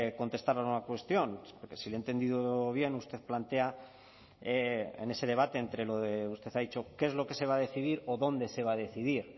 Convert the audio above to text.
contestar a una cuestión porque si le he entendido bien usted plantea en ese debate entre lo de usted ha dicho qué es lo que se va a decidir o dónde se va a decidir